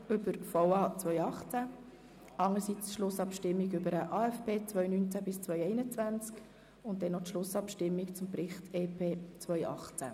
Dabei handelt es sich um die Schlussabstimmung über den VA 2018, den AFP 2019–2021 sowie über den Bericht EP 2018.